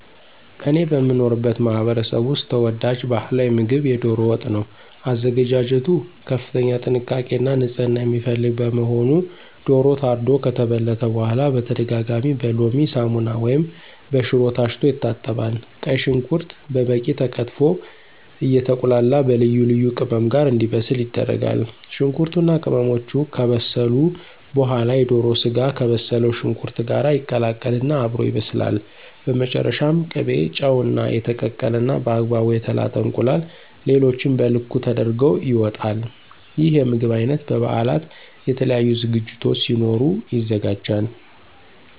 እኔ በምኖርበት ማህበረሰብ ውስጥ ተወዳጅ ባህላዊ ምግብ የዶሮ ወጥ ነው። አዘገጃጀቱ ከፍተኛ ጥንቃቄ እና ንፅህና የሚፈልግ በመሆኑ ዶሮው ታርዶ ከተበለተ በኋላ በተደጋጋሚ በሎሚ፣ ሳሙና ወይም በሽሮ ታሽቶ ይታጠባል። ቀይ ሽንኩርት በበቂ ተከትፎ አየተቁላላ በልዩ ልዩ ቅመም ጋር እንዲበስል ይደረጋል። ሽንኩርቱ እና ቅመሞቹ ከበሰሉ በኋላ የዶሮ ስጋው ከበሰለው ሽንኩርት ጋር ይቀላቀል እና አብሮ ይበስላል። በመጨረሻም ቅቤ፣ ጨው፣ እና የተቀቀለ እና በአግባቡ የተላጠ እንቁላል ሌሎቹም በልኩ ተደርገው ይወጣል። ይህ የምግብ አይነት በ በበአላት፣ የተለያዩ ዝግጅቶች ሲኖሩ ይዘጋጃል።